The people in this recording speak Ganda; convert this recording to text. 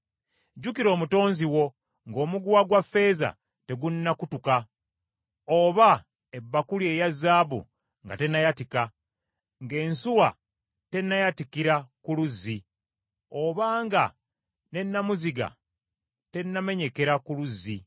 Jjukira omutonzi wo ng’omuguwa gwa ffeeza tegunnakutuka oba ebbakuli eya zaabu nga tennayatika, ng’ensuwa tennayatikira ku luzzi obanga ne nnamuziga tennamenyekera ku luzzi,